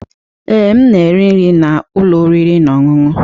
Ee, m na-eri nri na ụlọ oriri na ọṅụṅụ.